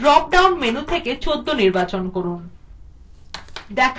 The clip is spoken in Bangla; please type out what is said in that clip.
drop down menu থেকে ১৪ নির্বাচন করুন